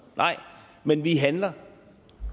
nej men vi handler